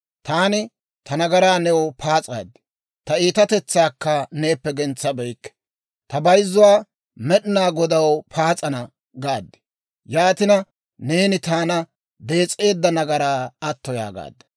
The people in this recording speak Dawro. Taani ta nagaraa new paas'aad; Ta iitatetsaakka neeppe gentsabeykke; «Ta bayzzuwaa Med'inaa Godaw paas'ana» gaad. Yaatina, neeni taana dees'eedda nagaraa atto yaagaadda.